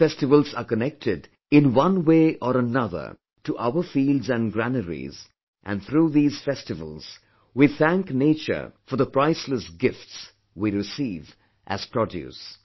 All of these festivals are connected in one way or another to our fields and granaries, and through these festivals, we thank nature for the priceless gifts we receive as produce